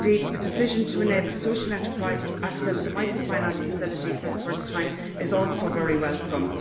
The decision to enable social enterprises to access the Microfinance Facility for the first time is also very welcome.